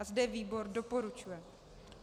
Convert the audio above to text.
A zde výbor doporučuje.